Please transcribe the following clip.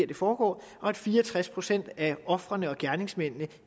det foregår og at fire og tres procent af ofrene og gerningsmændene